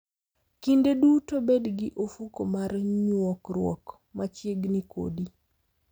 Kinde duto bed gi ofuko mar nyuokruok machiegni kodi.